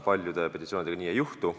Paljude petitsioonidega seda ei juhtu.